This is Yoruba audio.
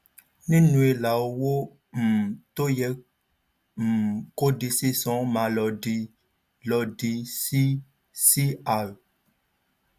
nínú ilà owó um tó yẹ um kó di sísan máa lòdì lòdì sí C-R